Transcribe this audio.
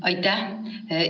Aitäh!